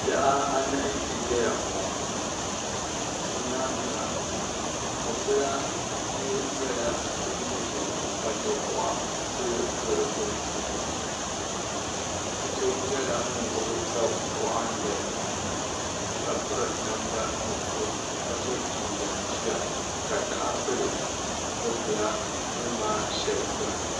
Bihi anahi n ʒɛya ŋɔ bi nyaanga mɔpila yili nyɛla din ʒɛya ka dakuɣa kuli do di gbuni bia so nyɛla ŋun gbubi daɣu waɣinli ka piri namda nuɣusu ka so jinjam jiya ka taha pili mɔpila duri maa shɛli gbuni.